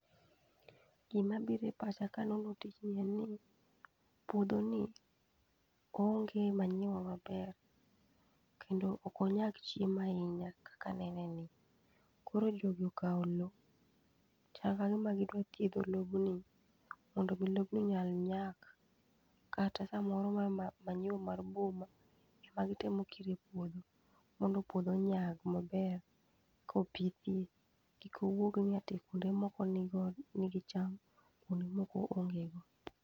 Gima biro e pacha ka aneno tijni en ni puodhoni oonge manyiwa maber kendo ok onyag chiemo ahinya kaka anene ni. Koro jogi okawo lowo, chal kagima gidwa chiedho lobni mondo mi lobni nyal nyak kata kamoro manyiwa mar boma, ikelo ikiro e puodho. To puodho onyag maber kopithie, kik owuog ni kuonde moko nigi cham to kuonde moko onge go.